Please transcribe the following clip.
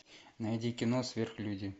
найди кино сверхлюди